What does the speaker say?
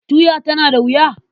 Tuya tana da wuya?